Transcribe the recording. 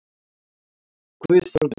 Guð forði mér.